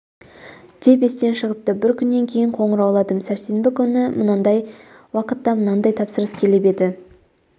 деп естен шығыпты бір күннен кейін қоңырауладым сәрсенбі күні мынандай уақытта мынандай тапсырыс келіп еді